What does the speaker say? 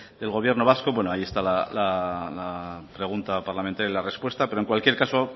del gobierno vasco bueno ahí está la pregunta parlamentaria y la respuesta pero en cualquier caso